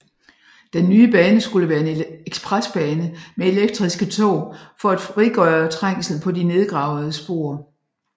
Den nye bane skulle være en ekspresbane med elektriske tog for at frigøre trængslen på de nedgravede spor